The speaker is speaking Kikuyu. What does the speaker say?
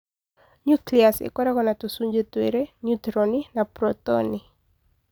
Nucleus ĩkoragwo na tũcunjĩ twĩrĩ - neutroni na protoni.